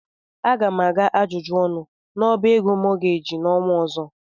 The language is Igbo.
Aga m aga ajụjụ ọnụ n'ọbá ego mọọgeeji n'ọnwa ọzọ.